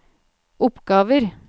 oppgaver